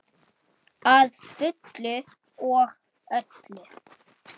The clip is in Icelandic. Að fullu og öllu.